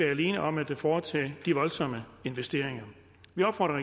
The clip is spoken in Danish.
alene om at foretage de voldsomme investeringer vi opfordrer